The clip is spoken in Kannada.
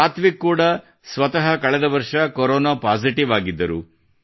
ಸಾತ್ವಿಕ್ ಕೂಡಾ ಸ್ವತಃ ಕಳೆದ ವರ್ಷ ಕೊರೊನಾ ಪಾಸಿಟಿವ್ ಆಗಿದ್ದರು